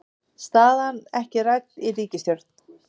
Staðan ekki rædd í ríkisstjórn